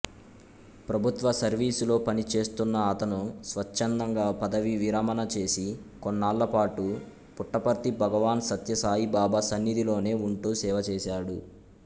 ప్రభుత్వ సర్వీసులో పనిచేస్తున్న అతను స్వచ్ఛందంగా పదవీ విరమణ చేసి కొన్నాళ్లపాటు పుట్టపర్తి భగవాన్ సత్యసాయిబాబా సన్నిధిలోనే వుంటూ సేవచేసాడు